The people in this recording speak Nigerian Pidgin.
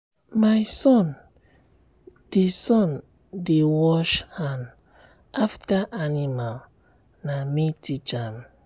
my son dey son dey wash hand after animal na me teach am.